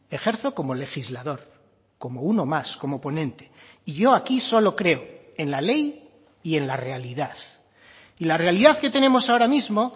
ejerzo como legislador como uno más como ponente y yo aquí solo creo en la ley y en la realidad y la realidad que tenemos ahora mismo